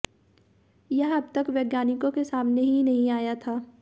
यह अब तक वैज्ञानिकों के सामने ही नहीं आया था